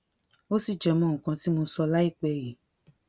ó sì jẹ mọ nǹkan tí mo sọ láìpẹ yìí